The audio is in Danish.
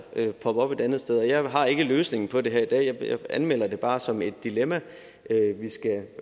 poppe op et andet sted og jeg har ikke løsningen på det her i dag jeg anmelder det bare som et dilemma vi skal